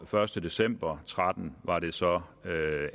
første december to og tretten var det så